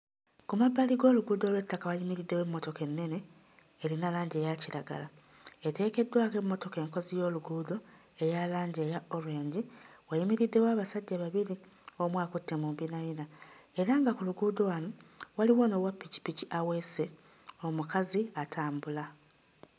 Ku mabbali g'oluguudo olw'ettaka wayimiriddewo emmotoka ennene erina langi eya kiragala. Eteekeddwako emmotoka enkozi y'oluguudo eya langi eya orange, wayimiriddewo abasajja babiri omu akutte mu mbinabina era nga ku luguudo wano waliwo n'owappikippiki aweese, omukazi atambula.